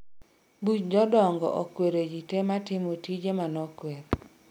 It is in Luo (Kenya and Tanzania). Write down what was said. buch jodongookwero ji te matimo tije manokwer